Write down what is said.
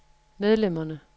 medlemmerne